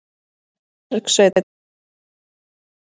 Bergsveinn, hvenær kemur tvisturinn?